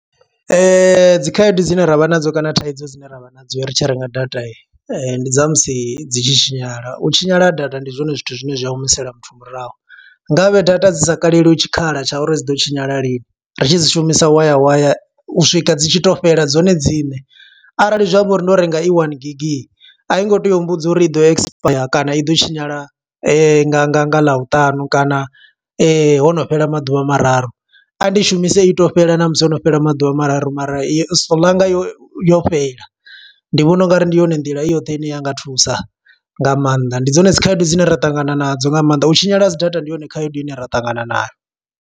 Dzi khaedu dzine ravha nadzo kana thaidzo dzine ravha nadzo ri tshi renga data, ndi dza musi dzi tshi tshinyala. U tshinyala ha data ndi zwone zwithu zwine zwi a humisela muthu murahu. Ngavhe data dzi sa kaleliwa tshikhala tsha uri dzi ḓo tshinyala lini, ri tshi dzi shumisa waya waya u swika dzi tshi to fhela dzone dziṋe. Arali zwi amba uri ndo renga i one gigi, a i ngo tea u mbudza uri i ḓo expire kana i ḓo tshinyala nga nga nga ḽavhutanu kana hono fhela maḓuvha mararu. A ndi shumise i to fhela na musi hono fhela maḓuvha mararu, mara yo solanga yo yo fhela. Ndi vhona ungari ndi yone nḓila i yoṱhe ine, ya nga thusa nga maanḓa. Ndi dzone dzi khaedu dzine ra ṱangana nadzo nga maanḓa, u tshinyala ha dzi data ndi yone khaedu ine ra ṱangana nayo.